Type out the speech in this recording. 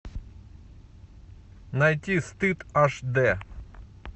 найти стыд аш д